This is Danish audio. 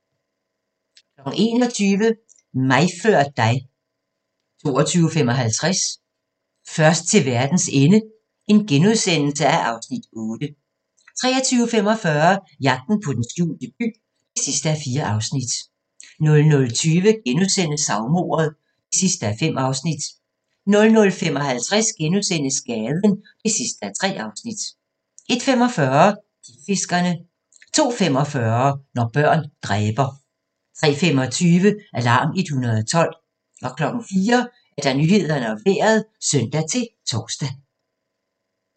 21:00: Mig før dig 22:55: Først til verdens ende (Afs. 8)* 23:45: Jagten på den skjulte by (4:4) 00:20: Savmordet (5:5)* 00:55: Gaden (3:3)* 01:45: Klipfiskerne 02:45: Når børn dræber 03:25: Alarm 112 04:00: Nyhederne og Vejret (søn-tor)